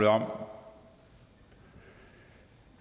om